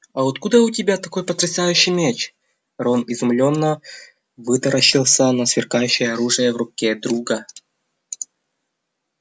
а откуда у тебя такой потрясающий меч рон изумлённо вытаращился на сверкающее оружие в руке друга